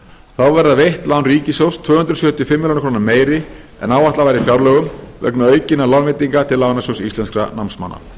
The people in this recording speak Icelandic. þá verða veitt lán ríkissjóðs tvö hundruð sjötíu og fimm milljónir króna meiri en áætlað var í fjárlögum vegna aukinna lánveitinga til lánasjóðs íslenskum námsmanna